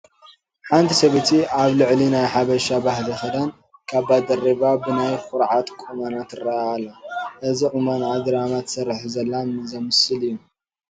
ሓንቲ ሰበይቲ ኣብ ልዕሊ ናይ ሓበሻ ባህሊ ክዳን ካባ ደሪባ ብናይ ኹርዓት ቁመና ትርአ ኣላ፡፡ እዚ ቁመንአ ድራማ ትሰርሕ ዘላ ዘምስል እዩ፡፡